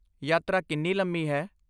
ਯਾਤਰਾ ਕਿੰਨੀ ਲੰਮੀ ਹੈ?